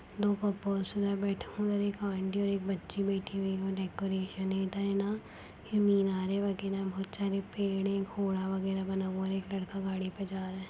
और एक ऑन्टी और एक बच्ची बैठी हुई हैं डेकोरेन इधर न मिनारे वगेरा बहुत सारे पेड़ है घोड़ा वगेरा बना हुआ है और एक लड़का गाड़ी पे जा रहा है।